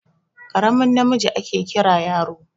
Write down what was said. Karamin namiji ake Kiran yaro.